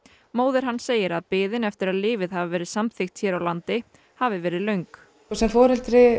móðir hans segir að biðin eftir að lyfið hafi verið samþykkt hér á landi hafi verið löng sem foreldri